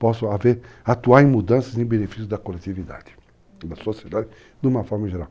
Posso atuar em mudanças em benefício da coletividade, da sociedade, de uma forma geral.